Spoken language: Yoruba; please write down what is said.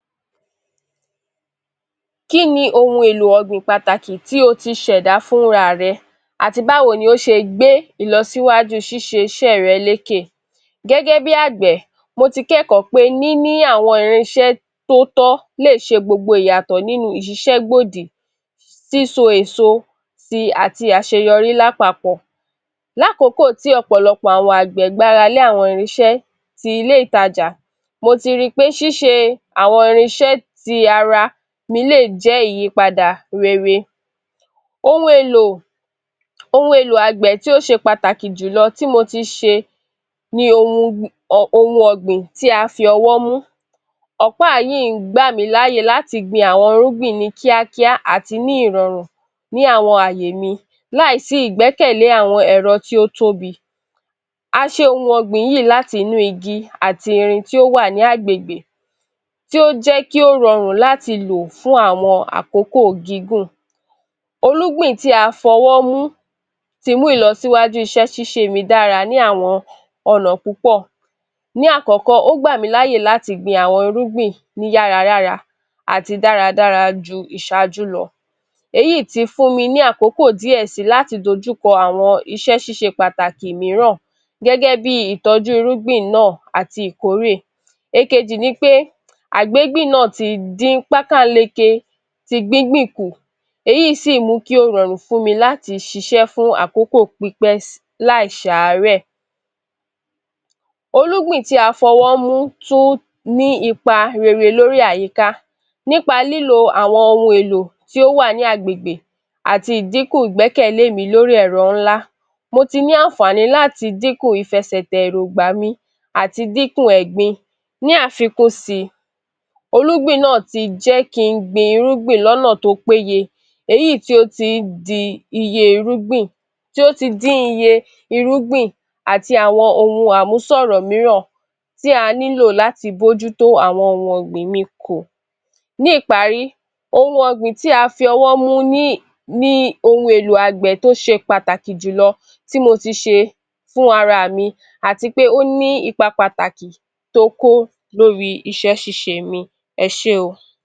Kín ni ohun èlò ọ̀gbìn pàtàkì tí o ti ṣ’ẹ̀dá fúnra rẹ̀ àti báwo ni ó ṣe gbé ìlọsíwájú ṣíṣe iṣẹ́ rẹ̀ lékè? Gẹ́gẹ́ bí àgbẹ̀, mo ti k’ẹkọ̀ọ́ pé níní àwọn irinṣẹ́ tó tọ́ lè ṣe gbogbo ìyàtọ̀ nínú ìṣiṣẹ́gbòdì, síso èso sí i àti àṣeyọrí lápapọ̀. L’akòókò tí ọ̀pọ̀lọpọ̀ àwọn àgbẹ̀ gbáralé àwọn irinṣẹ́ ti ilé ìtajà, mo ti rí í pé ṣíṣe àwọn irinṣẹ́ ti ara mi le jẹ́ ìyípadà rere. Ohun èlò àgbẹ̀ tí ó ṣe pàtàkì jù lọ tí mo ti ṣe ni ohun ọ̀gbìn tí a fi ọwọ́ mú. Ọ̀pá yíì ń gbàmí láyè láti gbin àwọn irúgbìn ní kíákíá, ní ìrọ̀rùn àti ní àwọn àyè mi láì sí ìgbẹ́kẹ̀lé àwọn ẹ̀ro tí ó tóbi. A ṣe ohun ògbìn yìí láti inú igi àti àwọn irin tí ó wà ní agbègbè tí ó jẹ́ kí ó rọrùn láti lò fún àkókò gígùn. Olúgbìn tí á f’ọwọ́ mú ti mú ìlọsíwájú iṣẹ́ ṣíṣe mi dára ní àwọn ọ̀nà púpọ̀. Ní àkọ́kọ́, ó gbà mí l’áye láti gbin àwọn irúgbìn ni yára-yára àti dára dára ju ìṣájú lọ. Èyí ti fún mi ní àkọkò díè sí i láti dojú kọ àwọn iṣẹ́ ṣíṣe pàtàkì mííràn gégé bí ìtọ́jú irúgbìn náà àti ìkórè. Èkejì ni pé àgbégbìn náà ti dín páká-ń-leke ti gbígbìn kù, èyí sì mú kí ó rorùn fún mi láti ṣiṣẹ́ fun àkókò pípẹ́ láì ṣ’àárẹ̀. Olúgbìn tí a fọwọ́ mu tún ní ipa rere lórí àyíká. Nípa lílo àwọn ohun èlò tí ó wà ní agbègbè àti ìdinkù ìgbẹ́kẹ̀lé mi lórí èro ńlá, mo ti ní àǹfààní láti dínkù ìfẹsẹ̀tẹ̀ èróńgbà mi àti dínkù ẹ̀gbin. Ní àfikún síi, olúgbìn náà ti jẹ́ kí n gbin irúgbìn náà l’ọ́nà tó péye, èyí tí ó tí dín iye irúgbìn àti àwọn ohun àmúṣorò míràn tí a nílò láti mójútó àwọn ohun ọ̀gbìn mi kù. Ní ìparí, ohun ọ̀gbìn tí a fọwọ́ mú ni ohun èlò àgbẹ̀ tí ó ṣe pàtàkì jùlọ tí mo ti ṣe fún ara mi, àti pé ó ní ipa pàtàkì tó kó lórí iṣẹ́ ṣíṣe mi. Ẹ ṣé o.